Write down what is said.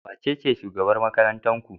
Wacece shugaban makarantar ku?